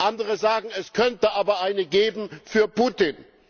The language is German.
Andere sagen, es könnte aber eine geben für Putin.